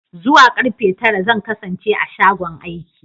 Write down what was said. Zuwa karfe tara zan kasance a shagon aiki.